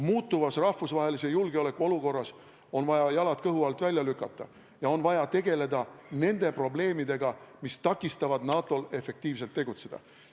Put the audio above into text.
Muutuvas rahvusvahelise julgeoleku olukorras on vaja jalad kõhu alt välja lükata ja on vaja tegeleda nende probleemidega, mis takistavad NATO-l efektiivselt tegutseda.